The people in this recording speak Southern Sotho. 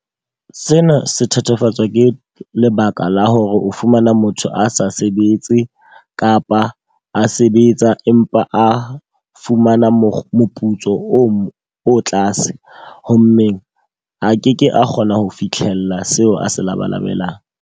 Sena se thatafatswa ke lebaka la hore o fumana motho a sa sebetse kapa a sebetsa. Empa a fumana moputso o tlase. Hovmmeng a ke ke a kgona ho fitlhella seo a se labalabelang.